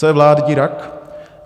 Co je vládní rak?